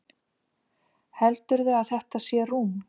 Heldurðu að þetta sé rúm?